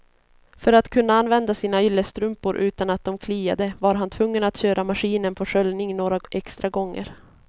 För att kunna använda sina yllestrumpor utan att de kliade var han tvungen att köra maskinen på sköljning några extra gånger.